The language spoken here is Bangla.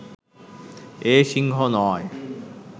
এ সিংহ নয়